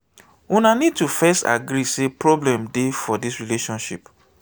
una need to first agree sey problem dey for di relationship